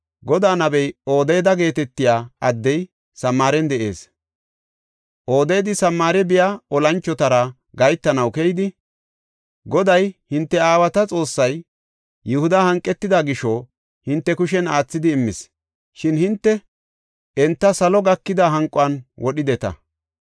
Godaa nabey Odeeda geetetiya addey Samaaren de7ees. Odeedi Samaare biya olanchotara gahetanaw keyidi, “Goday, hinte aawata Xoossay Yihuda hanqetida gisho hinte kushen aathidi immis. Shin hinte enta salo gakida hanqon wodhideta.